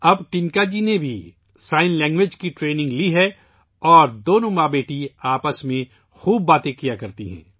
اب ٹنِکا جی نے اشاروں کی زبان کی تربیت بھی لے لی ہے اور ماں بیٹی دونوں اب آپس میں خوب باتیں کرتی ہیں